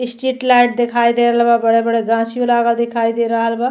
Street light दिखाई दे रहल बा। बड़े बड़े गाछियों लागल दिखाई दे रहल बा।